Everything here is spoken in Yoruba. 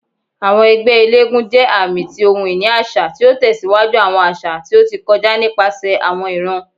Awọn ẹgbẹ elégúnjẹ aami ti ohun-ini aṣa, ti o tẹsiwaju awọn aṣa ti o ti kọja nipasẹ awọn iran.